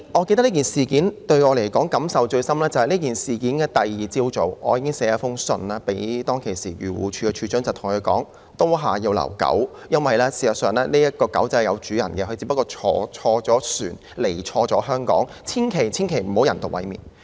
這件事令我感受最深的是，在事發後的次日早上，我已經致函時任漁護署署長，對他說"刀下要留狗"，因為這隻小狗其實是有主人的，只是錯誤地登船來到香港，千萬不要人道毀滅牠。